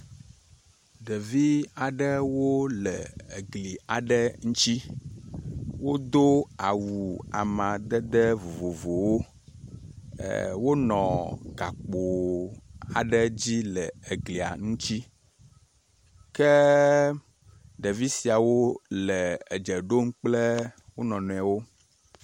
ɖevi aɖewo wole egli aɖe ŋtsi wodó awu amadede vovovowo e wonɔ gakpo aɖe dzi le eglia nutsi ke ɖevi siawo le edzeɖom kple wonɔnoewo